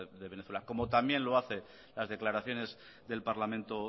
de venezuela como también lo hacen las declaraciones del parlamento